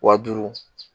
Wa duuru